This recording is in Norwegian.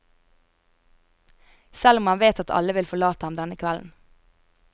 Selv om han vet at alle vil forlate ham denne kvelden.